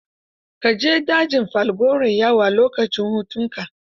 Ka je dajin Falgore yawo, a lokacin hutunka.